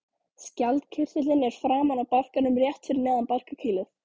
Skjaldkirtillinn er framan á barkanum rétt fyrir neðan barkakýlið.